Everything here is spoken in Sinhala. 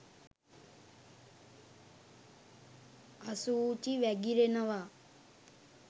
අසූචි වැගිරෙනවා.